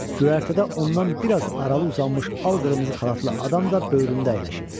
Göyərtədə ondan biraz aralı uzanmış al-qırmızı xalatlı adam da böyründə əyləşib.